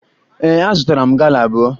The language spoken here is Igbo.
Ee, azụtara m gala abụọ